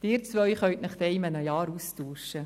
– Sie beide können sich dann in einem Jahr austauschen.